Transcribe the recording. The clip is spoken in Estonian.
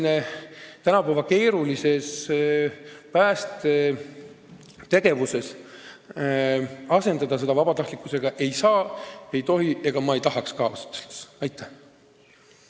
Aga tänapäeva keerulises päästetegevuses asendada kutseline päästetöö vabatahtlikuga – seda ei saa ega tohi ja ega me ausalt öeldes ei tahaks ka.